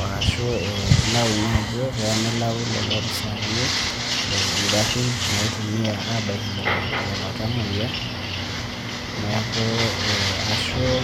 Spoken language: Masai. oashuu ilau ninye ajo keanelau lelo opisani ingarrin naitumia abaikinye lelo tamuoya. Neaku eh ashuu